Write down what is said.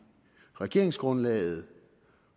regeringsgrundlaget